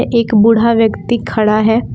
एक बूढ़ा व्यक्ति खड़ा है।